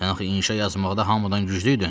Sən axı inşa yazmaqda hamıdan güclü idin.